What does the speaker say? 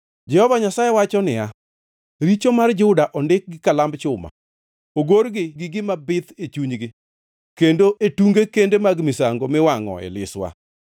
Jehova Nyasaye wacho niya, “Richo mar Juda ondik gi kalamb chuma; ogor gi gima bith e chunygi, kendo e tunge kende mag misango miwangʼoe liswa.